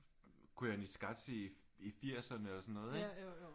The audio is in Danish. Koyaanisqatsi i i firserne og sådan noget ikke